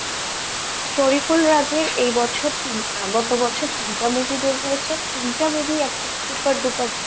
শরিফুল রাজের এই বছর গত বছর তিনটা movie বেরিয়েছে, তিনটা movie একদম super dupper hit